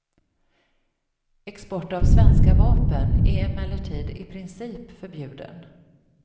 Export av svenska vapen är emellertid i princip förbjuden.